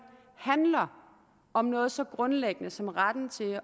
handler om noget så grundlæggende som retten til at